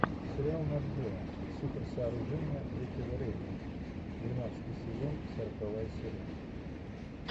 сериал нат гео суперсооружения третьего рейха двенадцатый сезон сороковая серия